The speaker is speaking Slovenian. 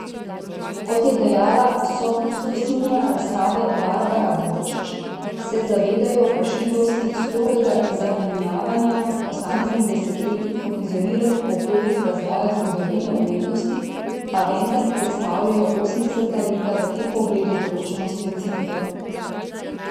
Kot je dejala sokustosinja razstave Barbara Borčič, se zavedajo vprašljivosti strogega zamejevanja posameznih desetletij kot izoliranih obdobij razvoja zgodovine umetnosti, pa vendar predstavljajo osemdeseta leta v tem pogledu določeno specifiko.